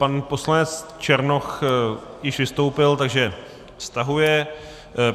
Pan poslanec Černoch již vystoupil, takže stahuje.